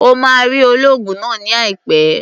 O máa rí olóògùn náà ní àìpẹ́.